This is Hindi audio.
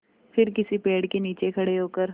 फिर किसी पेड़ के नीचे खड़े होकर